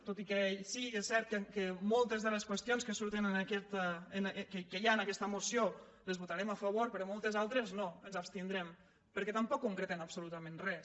tot i que sí és cert que moltes de les qüestions que hi ha en aquesta moció les votarem a favor però moltes altres no ens abstindrem perquè tampoc concreten absolutament res